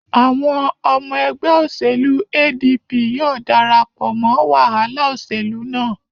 Àwọn ọmọ ẹgbẹ òṣèlú ADP yóò darapọ̀ mọ wàhálà òṣèlú náà.